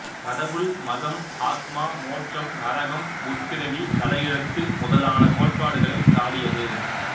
கடவுள் மதம் ஆத்மா மோட்சம் நரகம் முற்பிறவி தலைஎழுத்து முதலான கோட்பாடுகளைச் சாடியது